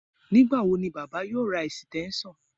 Nígbà wo ni baba yóò ra ẹ̀sìtẹ́ńṣọ̀n